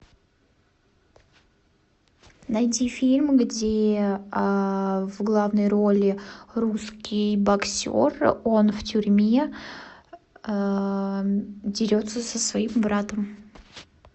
найди фильм где в главной роли русский боксер он в тюрьме дерется со своим братом